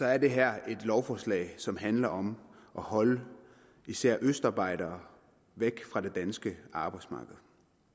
er det her et lovforslag som handler om at holde især østarbejdere væk fra det danske arbejdsmarked